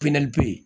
be yen